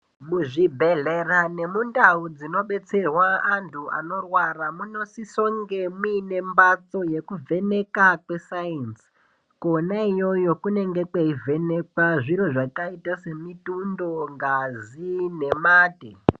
Muzvibhedhlera nemundau dzinobetserwa antu dzinodetserwa vantu anorwara munosiso kunge mune mbatso yekuvheneka kwe sainzi kwona iyoyo kunenge kweivhenekwa zvakaita semutundo ngazi nemate.